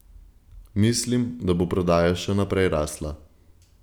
Mislim, da bo prodaja še naprej rasla.